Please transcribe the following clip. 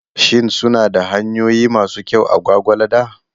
Shin suna da hanyoyi masu kyau a Gwagwalada?